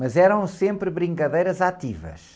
Mas eram sempre brincadeiras ativas.